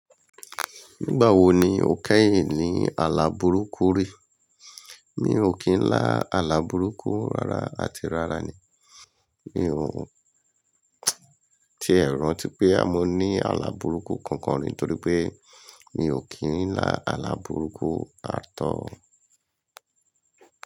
Nígbà wo ni o kẹ́yìn ní àlàbùrúkù rí? Mi ò kí ń lá àlàbùrúkù rara àti rara ni. Mi ò ti è rántí pé a mo ní àlàbùrúkù kankan rí torí pé mi ò kí ń lá àlàbùrúkù ààtọ́.